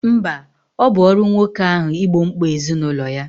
Mba, ọ bụ ọrụ nwoke ahụ igbo mkpa ezinụlọ ya